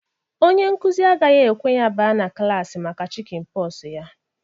Ọnye nkuzi agaghi-ekwe ya ba na klaasị maka chikin pox ya.